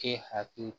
E hakili